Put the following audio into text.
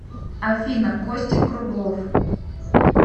афина костик круглов